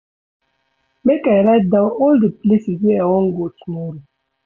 Make I write down all di places wey I wan go tomorrow.